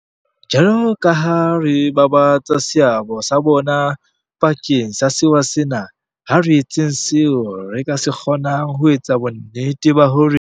Jwalokaha re babatsa seabo sa bona bakeng sa sewa sena, ha re etseng seo re ka se kgo nang ho etsa bonnete ba hore.